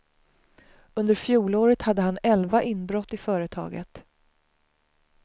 Under fjolåret hade han elva inbrott i företaget.